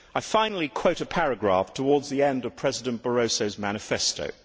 Finally, I quote a paragraph towards the end of President Barroso's manifesto.